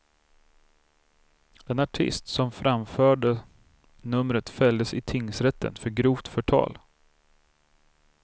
Den artist som framförde numret fälldes i tingsrätten för grovt förtal.